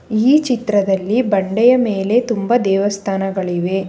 ಈ ಚಿತ್ರದಲ್ಲಿ ಬಂಡೆಯ ಮೇಲೆ ತುಂಬ ದೇವಸ್ಥಾನಗಳಿವೆ.